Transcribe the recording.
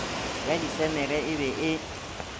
ya disemere e be e